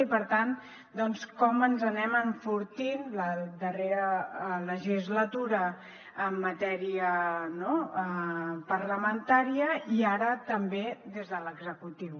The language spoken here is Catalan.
i per tant doncs com ens anem enfortint la darrera legislatura en matèria parlamentària i ara també des de l’executiu